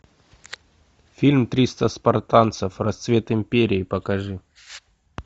фильм триста спартанцев расцвет империи покажи